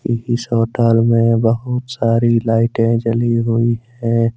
इस होटल में बहुत सारी लाइटें जली हुई हैं।